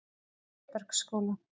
Klébergsskóla